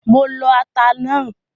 Mo lo ata náà.